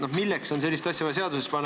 No milleks on vaja sellist asja seadusesse panna?